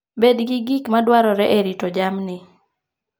Bed gi gik ma dwarore e rito jamni.